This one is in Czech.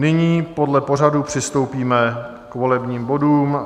Nyní podle pořadu přistoupíme k volebním bodům.